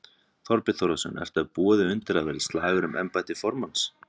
Þorbjörn Þórðarson: Ert þú að búa þig undir að það verði slagur um embætti formanns?